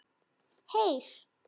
Heyr!